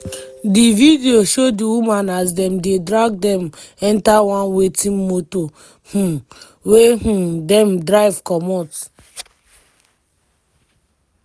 di video show di women as dem dey drag dem enta one waiting motor um wey um dem drive comot.